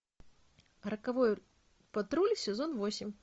роковой патруль сезон восемь